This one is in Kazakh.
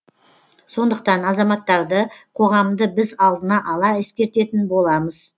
сондықтан азаматтарды қоғамды біз алдына ала ескертетін боламыз